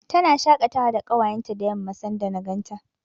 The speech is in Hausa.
Tana shaƙatawa da ƙawayenta da yamma, sanda na ganta.